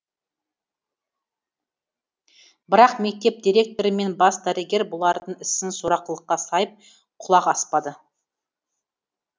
бірақ мектеп директоры мен бас дәрігер бұлардың ісін сорақылыққа сайып құлақ аспады